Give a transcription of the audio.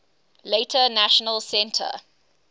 later national centre